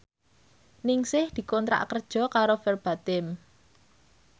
Ningsih dikontrak kerja karo Verbatim